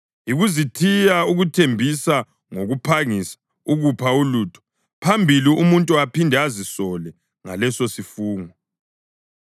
Yikuzithiya ukuthembisa ngokuphangisa ukupha ulutho, phambili umuntu aphinde azisole ngalesosifungo.